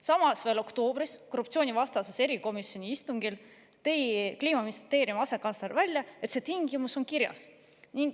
Samas, veel oktoobris korruptsioonivastase erikomisjoni istungil tõi Kliimaministeeriumi asekantsler välja, et see tingimus on kirjas.